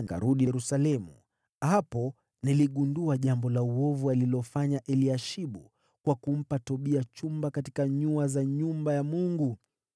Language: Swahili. nikarudi Yerusalemu. Hapo niligundua jambo la uovu alilofanya Eliashibu kwa kumpa Tobia chumba katika nyua za nyumba ya Mungu.